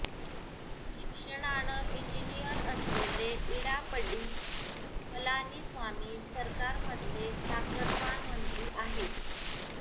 शिक्षणानं engineer असलेले इडापड्डी पलानीस्वामी सरकारमधले ताकदवान मंत्री आहेत